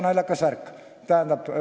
Selle vastutusega on naljakas värk.